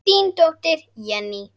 Þín dóttir, Jenný.